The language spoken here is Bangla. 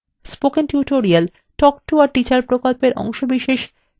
spoken tutorial talk to a teacher প্রকল্পের অংশবিশেষ